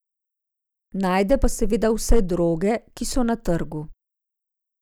Najde pa seveda vse droge, ki so na trgu.